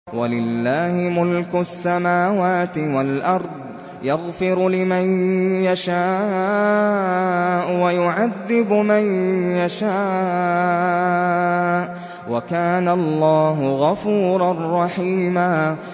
وَلِلَّهِ مُلْكُ السَّمَاوَاتِ وَالْأَرْضِ ۚ يَغْفِرُ لِمَن يَشَاءُ وَيُعَذِّبُ مَن يَشَاءُ ۚ وَكَانَ اللَّهُ غَفُورًا رَّحِيمًا